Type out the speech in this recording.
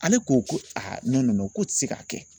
Ale ko ko k'o tɛ se k'a kɛ.